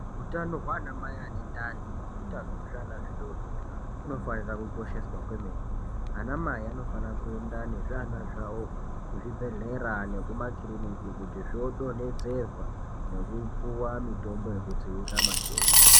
Utano hwana mai ane ndani ne utano hwe zviana zvidodori huno fanira ku kosheswa kwemene ana mai anofana kuenda ne zviana zvawo ku zvibhedhlera neku makiriniki kuti zvo donhedzerwa neku puwa mitombo yeku dzivirira matenda.